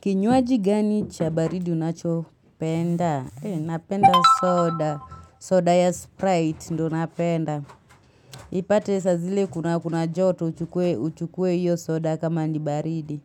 Kinywaji gani cha baridi unacho penda? Napenda soda. Soda ya Sprite ndo napenda. Ipate saa zile kuna joto uchukue hio soda kama ni baridi.